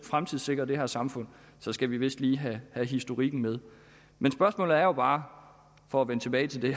fremtidssikre det her samfund skal vi vist lige have historikken med men spørgsmålet er bare for at vende tilbage til det